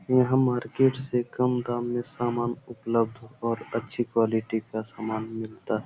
यहाँ मार्किट से कम दाम में सामान उपलभ्ध और अच्छी क्वालिटी का सामान मिलता --